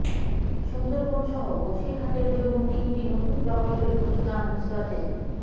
সুন্দরবন সহ বসিরহাটের জন্য তিনটি নতুন প্রকল্পের ঘোষণা নুসরতের